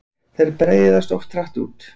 Þeir breiðast oft hratt út.